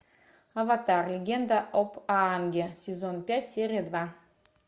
аватар легенда об аанге сезон пять серия два